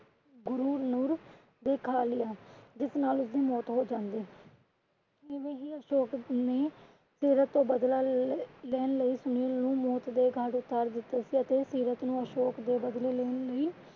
ਗੁਰੂਨੂੰਰ ਨੇ ਖਾ ਲਿਆ ਜਿਸ ਨਾਲ ਉਸਦੀ ਮੌਤ ਹੌ ਜਾਂਦੀ। ਐਵੇਂ ਈ ਅਸ਼ੋਕ ਨੇ ਸੀਰਤ ਤੋਂ ਬਦਲਾ ਲੈਣ ਲਈ ਸੁਨੀਲ ਨੂੰ ਮੌਤ ਦੇ ਘਾਟ ਉਤਾਰ ਦਿੱਤਾ ਸੀ ਅਤੇ ਸੀਰਤ ਨੂੰ ਅਸ਼ੋਕ ਦੇ ਬਦਲੇ ਲੈਣ ਲਈ